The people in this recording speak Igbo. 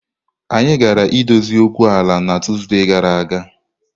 Anyị gaara edozi okwu ala a na Tuesday gara aga